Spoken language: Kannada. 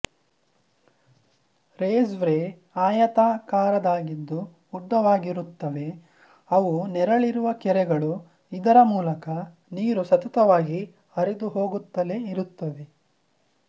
ರೇಸ್ ರ್ವೇ ಆಯತಾಕಾರದಾಗಿದ್ದು ಉದ್ದ ವಾಗಿರುತ್ತವೆ ಅವು ನೆರಳಿರುವ ಕೆರೆಗಳು ಇದರ ಮೂಲಕ ನೀರು ಸತತವಾಗಿ ಹರಿದುಹೋಗುತ್ತಲೇ ಇರುತ್ತದೆ